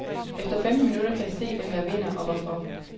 Efter femten minutter kan jeg se, hvem der vinder, og hvorfor.